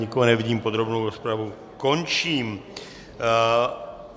Nikoho nevidím, podrobnou rozpravu končím.